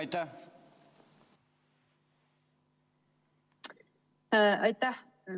Aitäh!